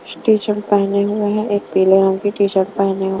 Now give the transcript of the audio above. T-shirt पहने हुए हैं एक पीले रंग की टी-शर्ट पहने हुए --